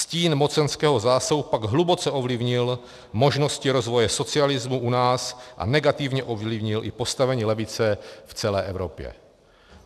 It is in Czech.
Stín mocenského zásahu pak hluboce ovlivnil možnosti rozvoje socialismu u nás a negativně ovlivnil i postavení levice v celé Evropě."